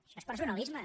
això és personalisme